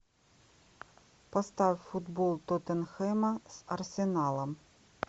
поставь футбол тоттенхэма с арсеналом